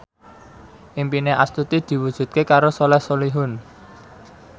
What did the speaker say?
impine Astuti diwujudke karo Soleh Solihun